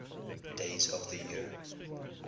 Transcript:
days of the year